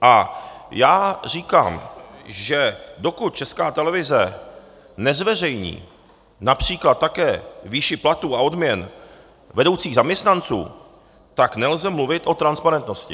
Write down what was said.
A já říkám, že dokud Česká televize nezveřejní například také výši platů a odměn vedoucích zaměstnanců, tak nelze mluvit o transparentnosti.